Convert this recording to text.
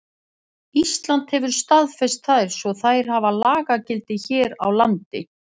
Ísland hefur staðfest þær svo þær hafa lagagildi hér á landi.